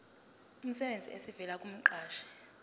emsebenzini esivela kumqashi